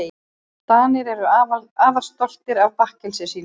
Danir eru afar stoltir af bakkelsinu sínu.